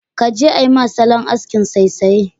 Kaje ama salon askin saisaye.